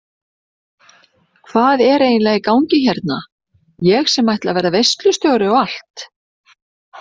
Hvað er eiginlega í gangi hérna ég sem ætla að vera veislustjóri og allt.